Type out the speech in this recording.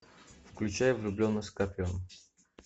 включай влюбленный с копьем